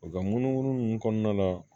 U ka munumunu kɔnɔna la